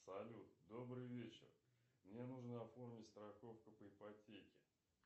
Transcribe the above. салют добрый вечер мне нужно оформить страховку по ипотеке